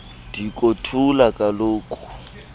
diko thula kaloku